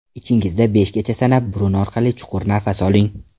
Ichingizda beshgacha sanab burun orqali chuqur nafas oling.